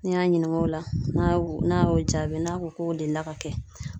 N'i y'a ɲininka o la n'a y'o jaabi n'a ko k'o delila ka kɛ